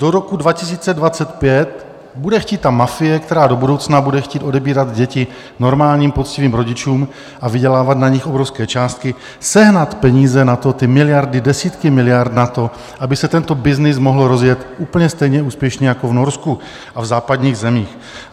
Do roku 2025 bude chtít ta mafie, která do budoucna bude chtít odebírat děti normálním poctivým rodičům a vydělávat na nich obrovské částky, sehnat peníze na to, ty miliardy, desítky miliard na to, aby se tento byznys mohl rozjet úplně stejně úspěšně jako v Norsku a v západních zemích.